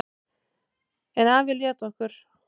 En afi lét okkur